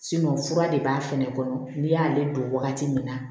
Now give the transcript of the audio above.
fura de b'a fɛnɛ kɔnɔ n'i y'ale don waati min na